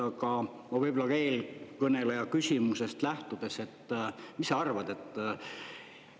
Aga võib-olla eelkõneleja küsimusest lähtudes: mis sa arvad?